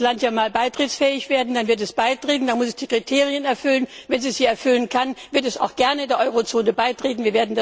Erst muss das Land ja mal beitrittsfähig werden, dann wird es beitreten, dann muss es die Kriterien erfüllen und wenn es sie erfüllen kann, wird es auch gern der Eurozone beitreten.